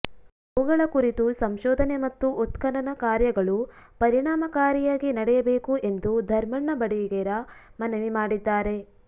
ಅವುಗಳ ಕುರಿತು ಸಂಶೋಧನೆ ಮತ್ತು ಉತ್ಖನನ ಕಾರ್ಯಗಳು ಪರಿಣಾಮಕಾರಿಯಾಗಿ ನಡೆಯಬೇಕು ಎಂದು ಧರ್ಮಣ್ಣ ಬಡಿಗೇರ ಮನವಿ ಮಾಡಿದ್ದಾರೆ